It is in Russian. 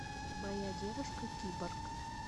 моя девушка киборг